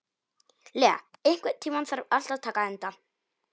Lea, einhvern tímann þarf allt að taka enda.